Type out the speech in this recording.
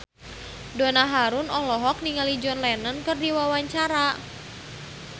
Donna Harun olohok ningali John Lennon keur diwawancara